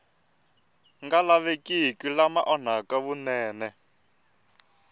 nga lavekiki lama onhaka vunene